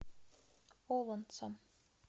олонцом